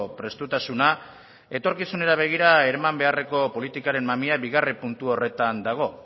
prestutasuna etorkizunera begira eman beharreko politikaren mamia bigarren puntu horretan dago